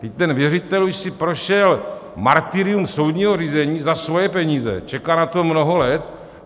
Vždyť ten věřitel už si prošel martyrium soudního řízení za svoje peníze, čeká na to mnoho let.